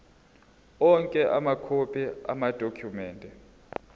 onke amakhophi amadokhumende